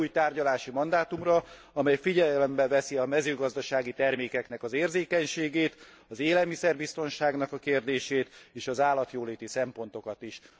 Egy olyan új tárgyalási mandátumra, amely figyelembe veszi a mezőgazdasági termékeknek az érzékenységét, az élelmiszerbiztonságnak a kérdését és az állatjóléti szempontokat is.